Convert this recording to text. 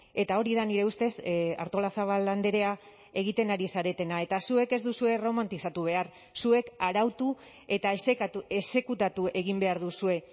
eta hori da nire ustez artolazabal andrea egiten ari zaretena eta zuek ez duzue erromantizatu behar zuek arautu eta exekutatu egin behar duzue